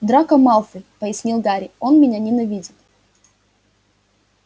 драко малфой пояснил гарри он меня ненавидит